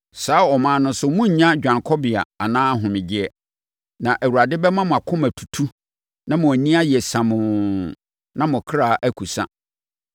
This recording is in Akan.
Saa aman no so morennya dwanekɔbea anaa ahomegyeɛ. Na Awurade bɛma mo akoma atutu na mo ani ayɛ siamoo na mo kra akusa.